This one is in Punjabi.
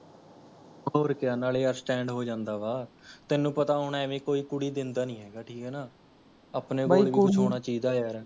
ਹੋਰ ਕਿਆ ਨਾਲੇ ਯਾਰ Stand ਹੋ ਜਾਦਾਂ ਵਾਂ, ਤੈਨੂਂ ਪਤਾ ਹੋਣਾ ਏਵੈਂ ਕੋਈ ਕੁੜੀ ਦੇੰਦਾ ਨੀ ਹੈਗਾ, ਠੀਕ ਹੈ ਨਾ ਆਪਣੇ ਕੋਲ ਕੁੱਛ ਹੋਣਾ ਚਾਹੀਦਾ ਯਾਰ